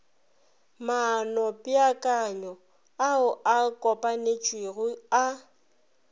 maanopeakanyo ao a kopanetšwego a